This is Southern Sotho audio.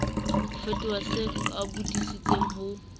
ho fetola se qapodisitsweng ho